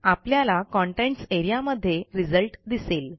आपल्याला contents A R E A मध्ये result दिसेल